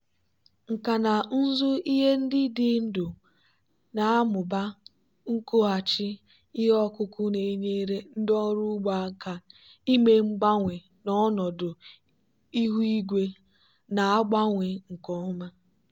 nkà na ụzụ ihe ndị dị ndụ na-amụba nkwụghachi ihe ọkụkụ na-enyere ndị ọrụ ugbo aka ime mgbanwe n'ọnọdụ ihu igwe na-agbanwe nke ọma.